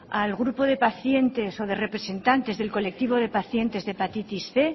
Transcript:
al grupo de pacientes o de representantes del colectivo de pacientes de hepatitis cien